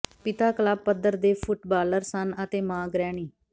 ਪਿਤਾ ਕਲੱਬ ਪੱਧਰ ਦੇ ਫੁੱਟਬਾਲਰ ਸਨ ਅਤੇ ਮਾਂ ਗ੍ਰਹਿਣੀ